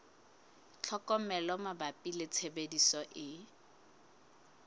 tlhokomelo mabapi le tshebediso e